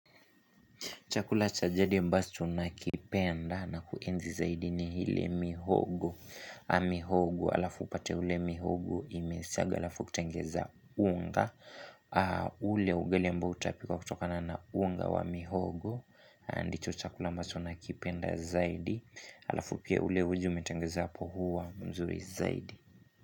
Chakula cha jadi ambacho nakipenda na kuenzi zaidi ni hile mihogo. Mihogo alafu upate ule mihogo imesaga alafu kutengeza unga. Ule ugali ambao utapikwa kutokana na unga wa mihogo. Andicho chakula ambacho na kipenda zaidi. Alafu pia ule uji umetengeza hapo huwa mzuri zaidi.